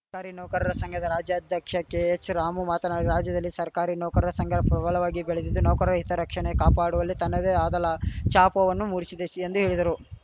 ಸರ್ಕಾರಿ ನೌಕರರ ಸಂಘದ ರಾಜ್ಯಾಧ್ಯಕ್ಷ ಕೆಎಚ್‌ರಾಮು ಮಾತನಾಡಿ ರಾಜ್ಯದಲ್ಲಿ ಸರ್ಕಾರಿ ನೌಕರರ ಸಂಘ ಪ್ರಬಲವಾಗಿ ಬೆಳೆದಿದ್ದು ನೌಕರರ ಹಿತ ರಕ್ಷಣೆ ಕಾಪಾಡುವಲ್ಲಿ ತನ್ನದೆ ಆದ ಲಾ ಛಾಪವನ್ನು ಮೂಡಿಸಿದೆ ಎಂದು ಹೇಳಿದರು